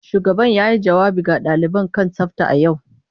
Shugaban yayi jawabi ga daliban kan tsafta a yau.